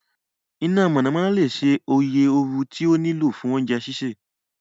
Ina monanona le ṣe oye ooru ti o nilo fun ounje sise